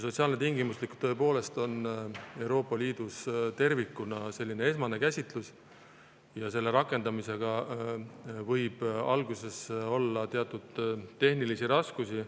Sotsiaalne tingimuslikkus on Euroopa Liidus tervikuna tõepoolest sellises esmases käsitluses ja selle rakendamisega võib alguses olla teatud tehnilisi raskusi.